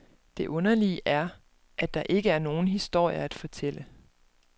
Det underlige er, at der ikke er nogen historie at fortælle.